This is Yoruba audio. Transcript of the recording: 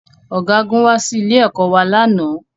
Ọ̀gágun wá sí ilé-ẹ̀kọ́ wa lánàá